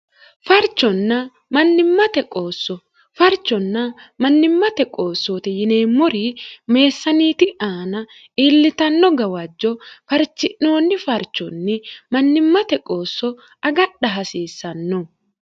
fcfarchonna mannimmate qoossoote yineemmori meessaaniiti aana iillitanno gawajjo farchi'noonni farchonni mannimmate qoosso agadha hasiissanno